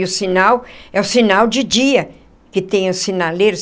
E o sinal é o sinal de dia que tem os sinaleiros.